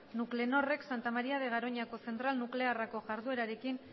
nuclenorrek santa maría de garoñako zentral nuklearreko jarduerarekin